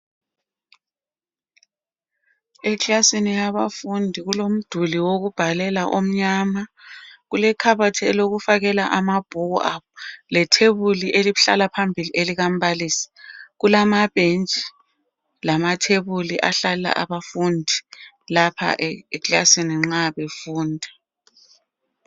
Eklasini yabafundi, kulomduli wokubhalela omnyama. Kulekhabothi eyokufakela amabhuku abo, lethebuli elihlala phambili elikambalisi. Kulamabench lamathebuli ahlala abafundi, lapha eklasini nxa befunda.